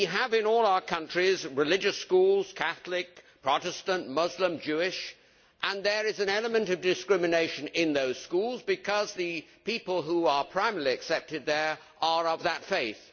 In all our countries we have religious schools Catholic, Protestant, Muslim, Jewish and there is an element of discrimination in those schools because the people who are primarily accepted there are of that faith.